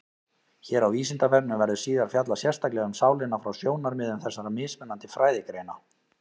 Hér á Vísindavefnum verður síðar fjallað sérstaklega um sálina frá sjónarmiðum þessara mismunandi fræðigreina.